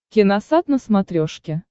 киносат на смотрешке